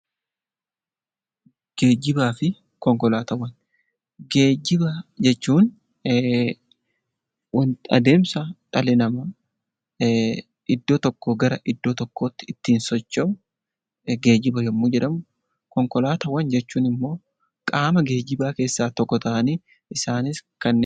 Geejjibaafi konkolaataawwan, geejjiba jechuun wanta adeemsa dhalli namaa iddoo tokkoo gara iddoo tokkootti ittiin socho'u geejjiba yommuu jedhamu konkolaataawwan jechuunimmoo qaama geejjibaa keessaa tokko ta'anii isaanis kanneen,